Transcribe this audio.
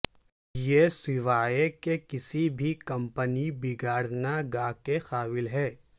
یہ سوائے کہ کسی بھی کمپن بگاڑنا گا کے قابل ہے